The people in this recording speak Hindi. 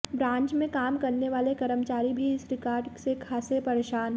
ब्रांच में काम करने वाले कर्मचारी भी इस रिकार्ड से खासे परेशान